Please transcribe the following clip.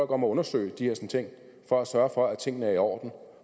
om at undersøge de her ting for at sørge for at tingene er i orden og